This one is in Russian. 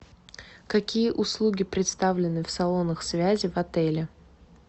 какие услуги представлены в салонах связи в отеле